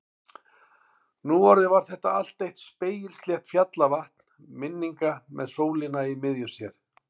Nú orðið var þetta allt eitt spegilslétt fjallavatn minninga með sólina í miðju sér.